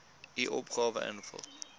u opgawe invul